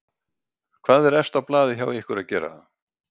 Hvað er efst á blaði hjá ykkur að gera?